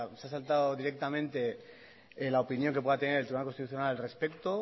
se ha saltado directamente la opinión que pueda tener el tribunal constitucional al respecto